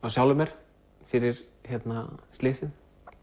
sjálfum mér fyrir slysið